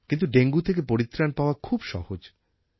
কিন্তু ডেঙ্গু থেকে পরিত্রাণ পাওয়া খুব সহজ